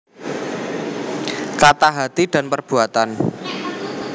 Kata Hati dan Perbuatan